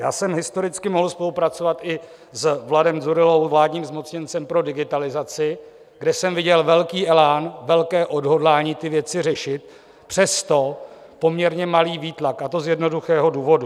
Já jsem historicky mohl spolupracovat i s Vladem Dzurillou, vládním zmocněncem pro digitalizaci, kde jsem viděl velký elán, velké odhodlání ty věci řešit, přesto poměrně malý výtlak, a to z jednoduchého důvodu.